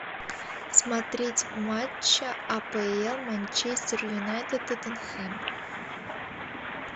смотреть матч апл манчестер юнайтед тоттенхэм